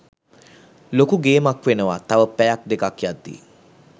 ලොකු ගේමක් වෙනවා තව පැයක් දෙකක් යද්දී